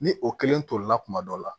Ni o kelen tolila kuma dɔ la